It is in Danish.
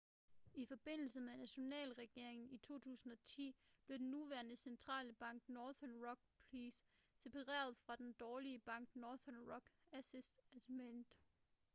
i forbindelse med nationaliseringen i 2010 blev den nuværende centrale bank nothern rock plc separeret fra den 'dårlige bank' northern rock asset management